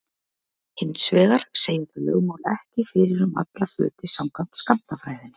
Hins vegar segja þau lögmál ekki fyrir um alla hluti samkvæmt skammtafræðinni.